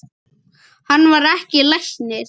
Hann var ekki læknir.